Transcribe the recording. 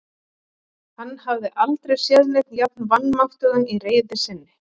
Hann hafði aldrei séð neinn jafn vanmáttugan í reiði sinni.